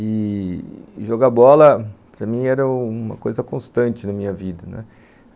E jogar bola, para mim, era uma coisa constante na minha vida.